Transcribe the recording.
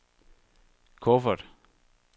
kuffert